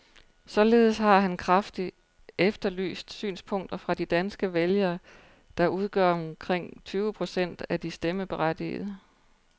Således har han kraftigt efterlyst synspunkter fra de danske vælgere, der udgør omkring tyve procent af de stemmeberettigede.